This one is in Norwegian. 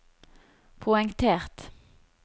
poengtert